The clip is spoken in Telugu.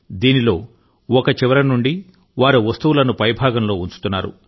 దీనిలో ఒక చివర నుండి వారు వస్తువులను పైభాగంలో ఉంచుతున్నారు